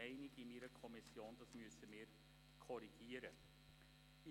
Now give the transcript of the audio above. Die Kommission ist der Meinung, dass wir dies korrigieren müssen.